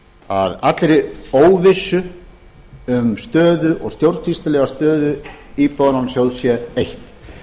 að allri óvissu um stjórnsýslulega stöðu íbúðalánasjóð sé eytt